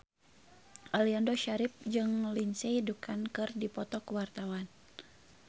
Aliando Syarif jeung Lindsay Ducan keur dipoto ku wartawan